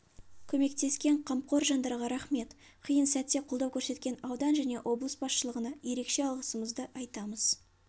көмектескен қамқор жандарға рақмет қиын сәтте қолдау көрсеткен аудан және облыс басшылығына ерекше алғысымызды айтамыз